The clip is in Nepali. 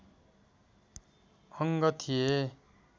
अङ्ग थिए